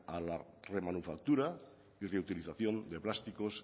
a la remanufactura y reutilización de plásticos